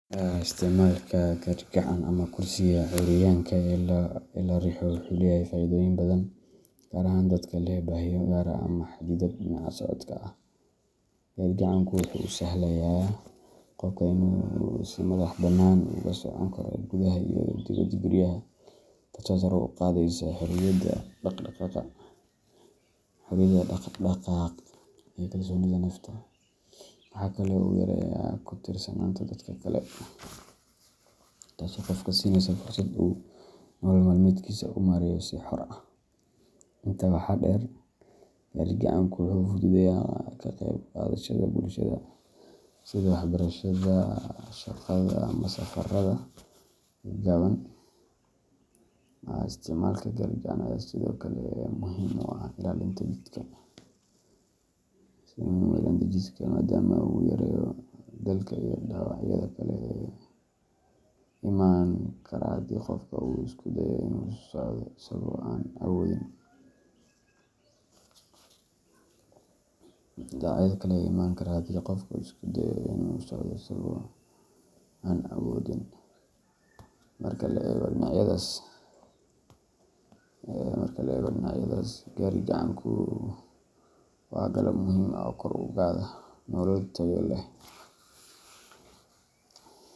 Isticmaalka gaadhi-gacan ama kursiga curyaanka ee la riixo wuxuu leeyahay faa’iidooyin badan, gaar ahaan dadka leh baahiyo gaar ah ama xaddidaad dhinaca socodka ah. Gaadhi-gacanku wuxuu u sahlayaa qofka inuu si madaxbannaan ugu socon karo gudaha iyo dibadda guryaha, taasoo sare u qaadaysa xorriyadda dhaqdhaqaaq iyo kalsoonida nafta. Waxa kale oo uu yareeyaa ku tiirsanaanta dadka kale, taasoo qofka siinaysa fursad uu nolol maalmeedkiisa u maareeyo si xor ah. Intaa waxaa dheer, gaadhi-gacanku wuxuu fududeeyaa ka qayb qaadashada bulshada, sida waxbarashada, shaqada, ama safarada gaagaaban. Isticmaalka gaadhi-gacan ayaa sidoo kale muhiim u ah ilaalinta jidhka, maadaama uu yareeyo daalka iyo dhaawacyada kale ee iman kara haddii qofka uu isku dayo inuu socdo isagoo aan awoodin. Marka la eego dhinacyadaas, gaadhi-gacanku waa qalab muhiim ah oo kor u qaada nolol tayo leh.